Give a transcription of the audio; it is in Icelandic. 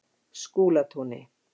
Skúlatúni